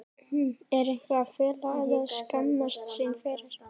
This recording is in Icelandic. Er eitthvað að fela eða skammast sín fyrir?